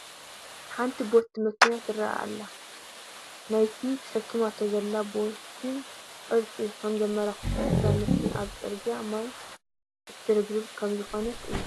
ሓንቲ ቦቲ መኪና ትርአ ኣላ፡፡ ናይቲ ተሸኪማቶ ዘዛ ቦቲ ቅርፂ ከምዘምልክቶ እዛ መኪና ኣብ ፅርጊያ ስራሕ ማይ ትርብርብ ከምዝኾነ እዩ፡፡